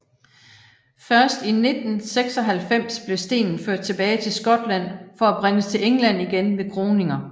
Først i 1996 blev stenen ført tilbage til Skotland for at bringes til England igen ved kroninger